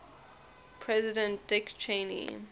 president dick cheney